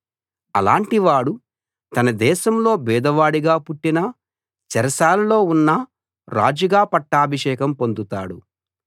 అలాంటివాడు తన దేశంలో బీదవాడుగా పుట్టినా చెరసాలలో ఉన్నా రాజుగా పట్టాభిషేకం పొందుతాడు